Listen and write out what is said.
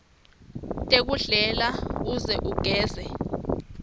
tekudlela uze ugeze